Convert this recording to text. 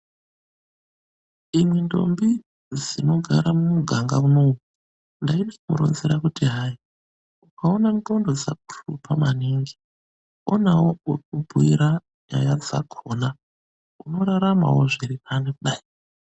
Imwi ndombi dzinogara muganga iumwomwo, ndaidzironzera kuti hai ukaona nxondo dzakuhlupa maningi, onawo wekubhuira nyaya dzakona unoraramavo zvirinani.